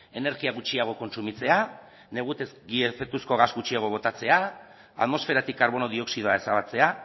energia gutxiago kontsumitzea negutegi efektuzko gas gutxiago botatzea atmosferatik karbono dioxidoa ezabatzea